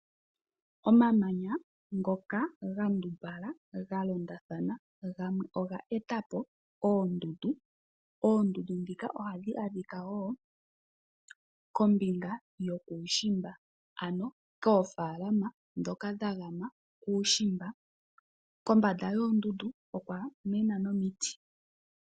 Omamanya ngoka gandumbala ga londathana gamwe oga eta po oondundu. Oondundu ndhika ohadhi adhika wo kombinga yokuushimba ano koofaalama ndhoka dha gama kuushimba. Kombanda yoondundu okwa mena nomiti.